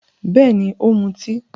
Bẹ́ẹ̀ni, ó ń mutí.